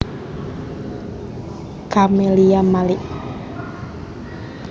Camelia Malik